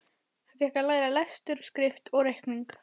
Hann fékk að læra lestur og skrift og reikning.